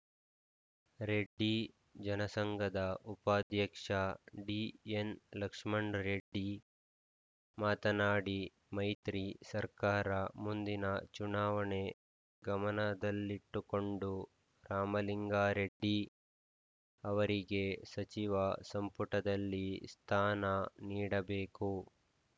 ರೆಡ್ಡಿ ಜನಸಂಘದ ಉಪಾಧ್ಯಕ್ಷ ಡಿಎನ್‌ಲಕ್ಷ್ಮಣ್‌ ರೆಡ್ಡಿ ಮಾತನಾಡಿ ಮೈತ್ರಿ ಸರ್ಕಾರ ಮುಂದಿನ ಚುನಾವಣೆ ಗಮನದಲ್ಲಿಟ್ಟುಕೊಂಡು ರಾಮಲಿಂಗಾರೆಡ್ಡಿ ಅವರಿಗೆ ಸಚಿವ ಸಂಪುಟದಲ್ಲಿ ಸ್ಥಾನ ನೀಡಬೇಕು